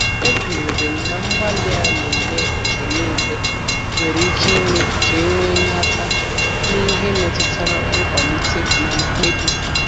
Ekwere m na mgbalị a na-eme mgbe niile nwere ike ime ka e nwee nhata n’ihe metụtara nkwalite na mkpebi.